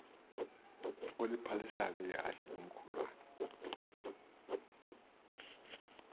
oliphalisayo ihashe ngumkhulawa